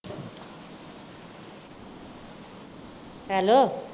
Hello